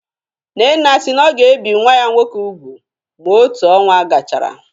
Nnenna si na ọ ga-ebi nwa ya nwoke úgwù ma otu ọnwa gachara